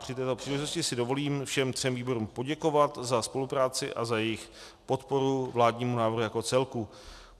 Při této příležitosti si dovolím všem třem výborům poděkovat za spolupráci a za jejich podporu vládnímu návrhu jako celku.